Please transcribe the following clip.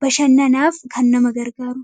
bashannanaaf kan nama gargaarudha.